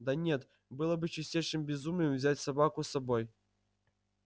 да нет было бы чистейшим безумием взять собаку с собой